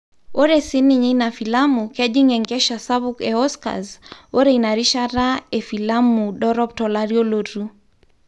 Ore sininye ina filamu kejing enkesha sapuk e Oscars ore inarishata e filamu dorop tolari olotu.